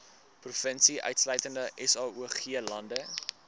provinsie insluitende saoglande